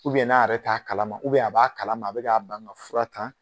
n'a yɛrɛ t'a kalama a b'a kalama, a bɛ k'a ban ŋa fura ta